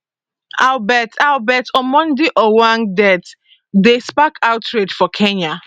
albert albert omondi ojwang death dey spark outrage for kenya